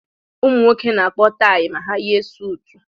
Ụmụ nwoke na-akpọ tayi ma ha yie sutu